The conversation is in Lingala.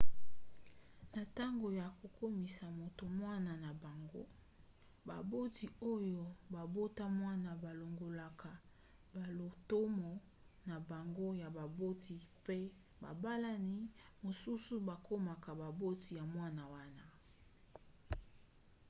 na ntango ya kokomisa moto mwana na bango baboti oyo babota mwana balongolaka balotomo na bango ya baboti mpe babalani mosusu bakomaka baboti ya mwana wana